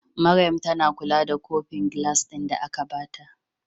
Maryam tAna kula da kofin gilas din da aka bata